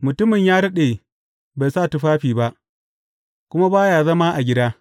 Mutumin ya daɗe bai sa tufafi ba, kuma ba ya zama a gida.